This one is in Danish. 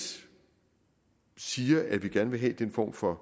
siger at vi gerne vil have den form for